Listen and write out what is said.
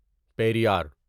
Periyar